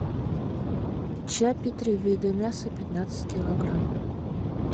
чаппи три вида мяса пятнадцать килограмм